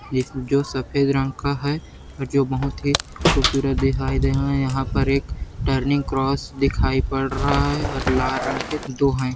एक जो सफेद रंग का है और जो बहुत ही खूबसूरत दिखाई दे रहा है यहाँ पर एक टर्निंग क्रॉस दिखाई पड़ रहा है और लाल रंग के दो हैं।